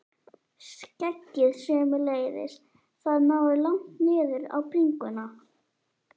Skeggið sömuleiðis, það náði langt niður á bringuna.